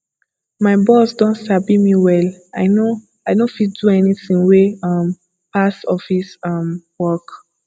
my boss don sabi me well i no i no fit do anything wey um pass office um work